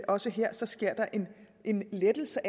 også her sker en lettelse